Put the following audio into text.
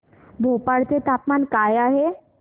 भोपाळ चे तापमान काय आहे